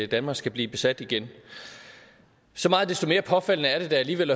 danmark skal blive besat igen så meget desto mere påfaldende er det da alligevel